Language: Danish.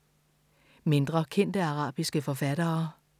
Mindre kendte arabiske forfattere